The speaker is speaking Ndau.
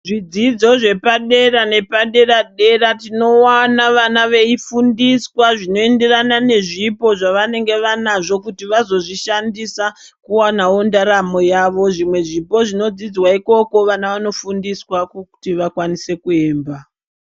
Zvidzidzo zvepadera nepadera-dera tinowana vana veifundiswa zvinoenderana nezvipo zvavanenge vanazvo kuti vazozvishandisa kuwanawo ndaramo yavo. Zvimwe zvipo zvinonodzidzwa ikoko vana vanofundiswa kuti vakwanise kuemba.